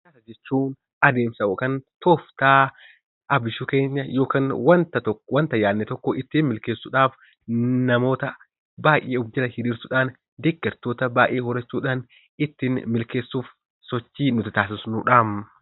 Jechuun adeemsa yookiin tooftaa abushikiin yookiin waanta yaadne tokko ittiin milkeessuudhaaf namoota baayyee of faana hiriirauudhaan, deeggartoota baayyee horachuudhaan ittiin milkeessuuf sochii nuti taasisnuudha.